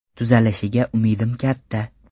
Tuzalishiga umidim katta.